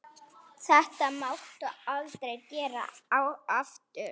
Þetta máttu aldrei gera aftur!